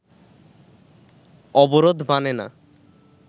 অবরোধ মানে না